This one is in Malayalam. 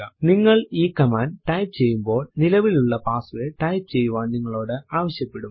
നിങ്ങൾ ഈ കമാൻഡ് ടൈപ്പ് ചെയ്യുമ്പോൾ നിലവിലുള്ള പാസ്സ്വേർഡ് ടൈപ്പ് ചെയ്യുവാൻ നിങ്ങളോട് ആവശ്യപെടും